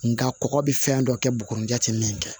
Nga kɔkɔ bi fɛn dɔ kɛ buguni ja ti min kɛ